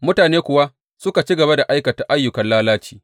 Mutane kuwa, suka ci gaba da aikata ayyukan lalaci.